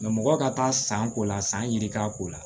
mɔgɔ ka taa san ko la san yirika ko la